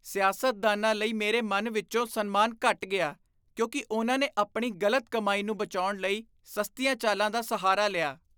ਸਿਆਸਤਦਾਨਾਂ ਲਈ ਮੇਰੇ ਮਨ ਵਿਚੋਂ ਸਨਮਾਨ ਘੱਟ ਗਿਆ ਕਿਉਂਕਿ ਉਨ੍ਹਾਂ ਨੇ ਆਪਣੀ ਗ਼ਲਤ ਕਮਾਈ ਨੂੰ ਬਚਾਉਣ ਲਈ ਸਸਤੀਆਂ ਚਾਲਾਂ ਦਾ ਸਹਾਰਾ ਲਿਆ।